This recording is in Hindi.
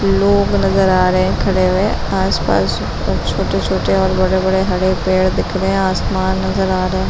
लोग नजर आ रहे हैं खड़े हुए आस-पास कुछ छोटे-छोटे और बड़े-बड़े हरे पेड़ दिख रहे हैं आसमान नजर आ रहा है ।